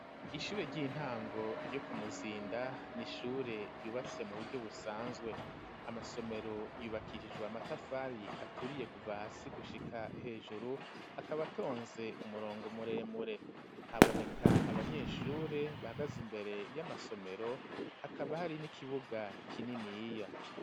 Ishure ry'intango ryo ku Muzinda n'ishure ryubatse mu buryo busanzwe amasomero yubakishijwe amatafari aturiye kuva hasi gushika hejuru akaba atonze umurongo muremure haboneka abanyeshure bahagaze imbere y'amasomero hakaba hari n'ikibuga kininiya.